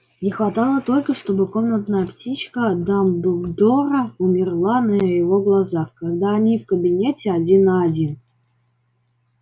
не хватало только чтобы комнатная птичка дамблдора умерла на его глазах когда они в кабинете один на один